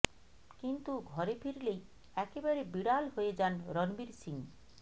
কিন্তু ঘরে ফিরলেই একেবারে বিড়াল হয়ে যান রণবীর সিং